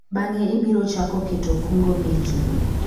bang'e ibiro chako keto kungo meki